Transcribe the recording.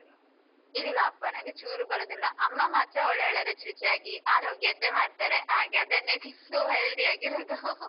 ಇಲ್ಲ ಅಪಾ ನನ್ಗೆ ಚೂರು ಬರುದಿಲ್ಲ ಅಮ್ಮ ಮಾತ್ರ ಒಳ್ಳೆಒಳ್ಳೆ ರುಚಿ ರುಚಿಯಾಗಿ ಆರೋಗ್ಯದ್ದೇ ಮಾಡ್ತಾರೆ ಹಾಗೆ ಅದನ್ನೇ ತಿಂದು healthy ಆಗಿ ಇರುದು .